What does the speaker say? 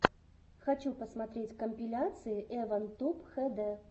хочу посмотреть компиляции эван туб хэ дэ